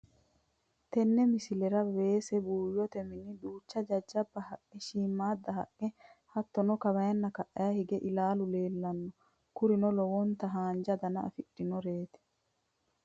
Tenne misilera weese buuyyote mini duucha jajjaba haqqe shiimmada haqqe hattono kawanna ka'aa hige ilaalu leellano kurino lowonta haanja dana afidhinoteeti